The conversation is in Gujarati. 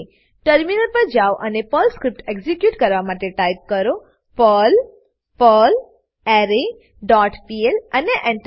ટર્મિનલ પર જાઓ અને પર્લ સ્ક્રીપ્ટ એક્ઝીક્યુટ કરવા માટે ટાઈપ કરો પર્લ પર્લરે ડોટ પીએલ અને Enter